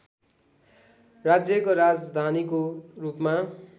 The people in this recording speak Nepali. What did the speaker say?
राज्यको राजधानीको रूपमा